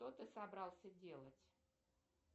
что ты собрался делать